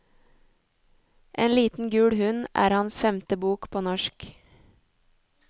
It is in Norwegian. En liten gul hund er hans femte bok på norsk.